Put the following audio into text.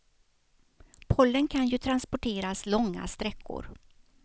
Pollen kan ju transporteras långa sträckor.